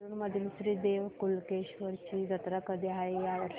नेरुर मधील श्री देव कलेश्वर ची जत्रा कधी आहे या वर्षी